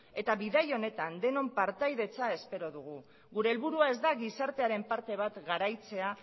eta bidai honetan denon partaidetza espero dugu gure helburua ez da gizartearen parte bat garaitzea